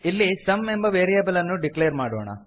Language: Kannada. ಇಲ್ಲಿ ಸುಮ್ ಎಂಬ ವೇರಿಯೇಬಲ್ ಅನ್ನು ಡಿಕ್ಲೇರ್ ಮಾಡೋಣ